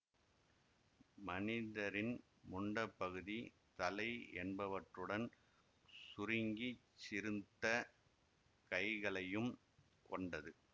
மனிதரின் முண்டப்பகுதி தலை என்பவற்றுடன் சுருங்கிச் சிறுத்த கைகளையும் கொண்டது